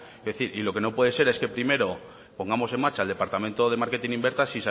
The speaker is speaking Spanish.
y lo que no puede ser es que primero pongamos en marcha el departamento de marketing y ventas